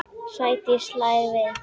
Sædís hlær við.